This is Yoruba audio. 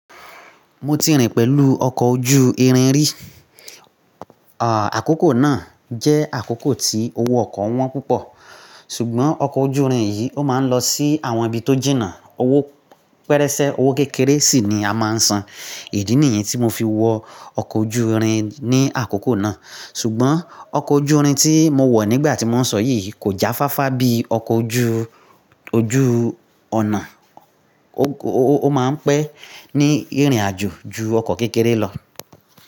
Mo ti rìn pẹ̀lú ọkọ̀ ojú irin rí. Àkókò náà jẹ́ àkókò tí owó ọkọ̀ wọ́n púpọ̀. Ṣùgbọ́n ọkọ̀ ojú irin yìí ó máa ń lọ sí àwọn ibi tó jìnnà. Owó pẹrẹsẹ, owó kékeré sì ni a máa ń san. Ìdí nìyen tí mo fi wọ ọkọ̀ ojú irin ní àkókò náà. Ṣùgbọ́n ọkọ̀ ojú irin tí mo wọ̀ nígbà tí mò ń sọ yìí kò jáfáfá bí ọkọ̀ ojú, ojú ọ̀nà. Ó máa ń pẹ́ ní ìrìnàjò ju ọkọ̀ kékeré lọ.